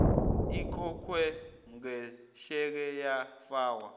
ikhokhwe ngesheke yafakwa